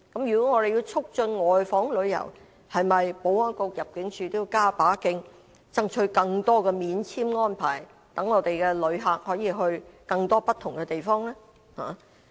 如果我們要促進外訪旅遊，保安局和入境處應否加把勁，爭取更多免簽安排，讓我們的旅客可以到更多不同的地方？